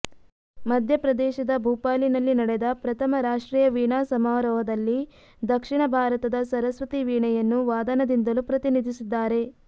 ಮಧ್ಯ ಪ್ರದೇಶದ ಭೂಪಾಲಿನಲ್ಲಿ ನಡೆದ ಪ್ರಥಮ ರಾಷ್ಟ್ರೀಯ ವೀಣಾಸಮಾರೋಹದಲ್ಲಿ ದಕ್ಷಿಣ ಭಾರತದ ಸರಸ್ವತೀ ವೀಣೆಯನ್ನು ವಾದನದಿಂದಲೂ ಪ್ರತಿನಿಧಿಸಿದ್ದಾರೆ